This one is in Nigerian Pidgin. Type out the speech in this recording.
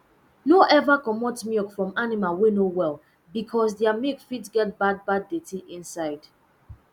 no ever commot milk from animal wey no well because their milk fit get bad bad dirtyinside